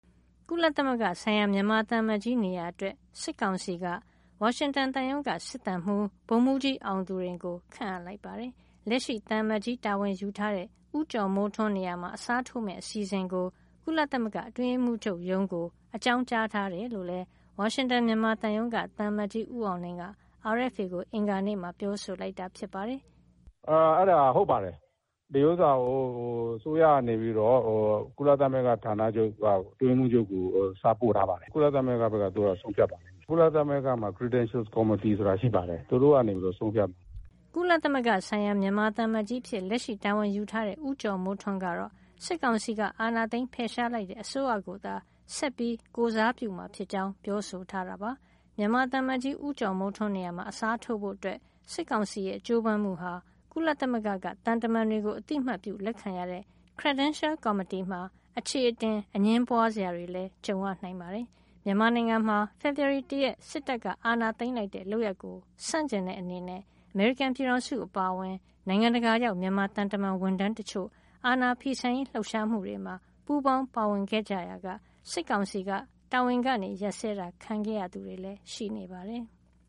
ကုလသမဂ္ဂဆိုင်ရာ မြန်မာသံအမတ်ကြီး နေရာအတွက် စစ်ကောင်စီက ဝါရှင်တန်သံရုံးက စစ်သံမှူး ဗိုလ်မှူးကြီး အောင်သူရိန်ကို ခန့်အပ်လိုက်ပါတယ်။ လက်ရှိသံအမတ်ကြီး တာဝန်ယူထားတဲ့ ဦးကျော်မိုးထွန်း နေရာမှာ အစားထိုးမယ့် အစီအစဉ်ကို ကုလသမဂ္ဂ အတွင်းရေးမှူးချုပ်ရုံးကို အကြောင်းကြားထားတယ်လို့လည်း ဝါရှင်တန် မြန်မာသံရုံးက သံအမတ်ကြီး ဦးအောင်လင်းက RFA ကို အင်္ဂါနေ့က ပြောဆိုလိုက်တာ ဖြစ်ပါတယ်။ “အဲဒါ ဟုတ်ပါတယ်။ ဒီဟာကို အစိုးရက ကုလသမဂ္ဂဌာနချုပ်က အတွင်းရေးမှုးချုပ်ဆီ စာပို့ထားပါတယ်။ ကုလသမဂ္ဂဘက်က သူတို့ ဆုံးဖြတ်မှာပါ။ ကုလသမဂ္ဂမှာ Credential Committee ဆိုတာ ရှိပါတယ်။ သူတို့က ဆုံးဖြတ်မှာပါ။” ကုလသမဂ္ဂဆိုင်ရာ မြန်မာသံအမတ်ကြီးအဖြစ် လက်ရှိတာဝန်ယူထားတဲ့ ဦးကျော်မိုးထွန်းကတော့ စစ်ကောင်စီက အာဏာသိမ်း ဖယ်ရှားလိုက်တဲ့ အစိုးရကိုသာ ဆက်လက် ကိုယ်စားပြုမှာဖြစ်ကြောင်း ပြောဆိုထားတာပါ။ သံအမတ်ကြီး ဦးကျော်မိုးထွန်း နေရာမှာ အစားထိုးဖို့ စစ်ကောင်စီရဲ့ ကြိုးပမ်းမှုဟာ ကုလသမဂ္ဂက သံတမန်တွေကို အသိအမှတ်ပြုလက်ခံရတဲ့ Credential Committee မှာ အချေအတင် အငြင်းပွားစရာတွေလည်း ကြုံရနိုင်ပါတယ်။ မြန်မာနိုင်ငံမှာ ဖေဖော်ဝါရီလ ၁ ရက်နေ့ စစ်တပ်က အာဏာသိမ်းလိုက်တဲ့ လုပ်ရပ်ကို ဆန့်ကျင်တဲ့ အနေနဲ့ အမေရိကန် ပြည်ထောင်စု အပါအဝင် နိုင်ငံတကာရောက် မြန်မာသံတမန် ဝန်ထမ်းတချို့ အာဏာဖီဆန်ရေး လှုပ်ရှားမှုတွေမှာ ပူးပေါင်းပါဝင်ခဲ့ကြရာက စစ်ကောင်စီက တာဝန်က ရပ်စဲတာ ခံခဲ့ကြရသူတွေလည်း ရှိပါတယ်။